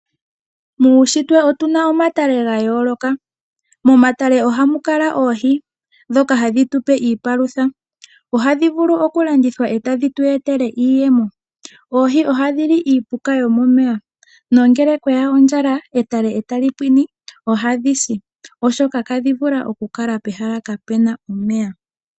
Muushitwe otu na omatale ga yooloka. Momatale ohamu kala oohi ndhoka hadhi tu pe iipalutha. Ohadhi vulu okulandithwa e tadhi tu etele iiyemo. Oohi ohadhi li iipuka yomomeya. Nongele kwe ya ondjala etale e tali pwine ohadhi si, oshoka ihadhi vulu okukala pehala kape na omeya.